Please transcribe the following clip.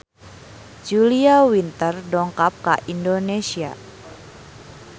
Julia Winter dongkap ka Indonesia